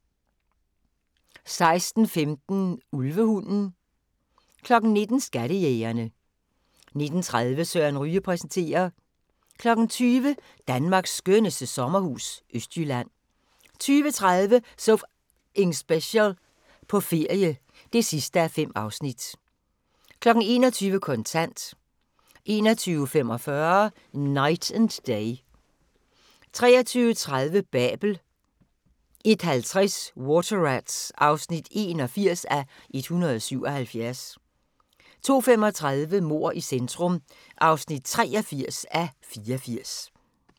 16:15: Ulvehunden 19:00: Skattejægerne 19:30: Søren Ryge præsenterer 20:00: Danmarks skønneste sommerhus – Østjylland 20:30: So F***ing Special – på ferie (5:5) 21:00: Kontant 21:45: Knight and Day 23:30: Babel 01:50: Water Rats (81:177) 02:35: Mord i centrum (83:84)